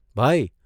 ભાઇ !